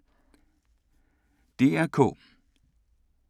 DR K